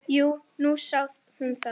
Jú, nú sá hún það.